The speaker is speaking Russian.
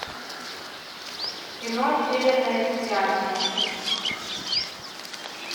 кино северное сияние